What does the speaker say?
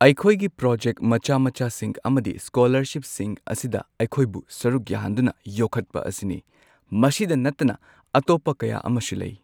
ꯑꯩꯈꯣꯏꯒꯤ ꯄ꯭ꯔꯣꯖꯦꯛ ꯃꯆꯥ ꯃꯆꯥꯁꯤꯡ ꯑꯃꯗꯤ ꯁ꯭ꯀꯣꯂꯔꯁꯤꯞꯁꯤꯡ ꯑꯁꯤꯗ ꯑꯩꯈꯣꯏꯕꯨ ꯁꯔꯨꯛ ꯌꯥꯍꯟꯗꯨꯅ ꯌꯣꯛꯈꯠꯄ ꯑꯁꯤꯅꯤ ꯃꯁꯤꯗ ꯅꯠꯇꯅ ꯑꯇꯣꯞꯄ ꯀꯌꯥ ꯑꯃꯁꯨ ꯂꯩ꯫